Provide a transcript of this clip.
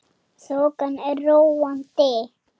Þokan er róandi